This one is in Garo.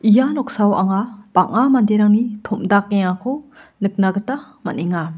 ia noksao anga bang·a manderangni tom·dakengako nikna gita man·enga.